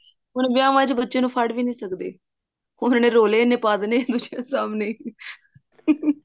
ਹੁਣ ਵਿਆਹਾਂ ਵਿੱਚ ਬੱਚੇ ਨੂੰ ਫੜ ਵੀ ਨੀ ਸਕਦੇ ਉਹਨੇ ਰੋਲੇ ਇੰਨੇ ਪਾ ਦੇਣੇ ਆ ਦੂਜੀਆਂ ਦੇ ਸਾਹਮਣੇ